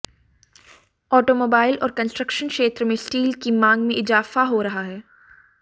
automobile और construction क्षेत्र में स्टील की मांग में इजाफा हो रहा है